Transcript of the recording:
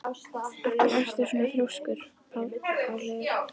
Af hverju ertu svona þrjóskur, Pálheiður?